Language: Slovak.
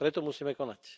Preto musíme konať.